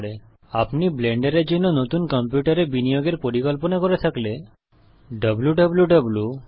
এবং আপনি যদি ব্লেন্ডারের জন্য নতুন কম্পিউটারে বিনিয়োগের পরিকল্পনা করেন তাহলে ডব্লুউ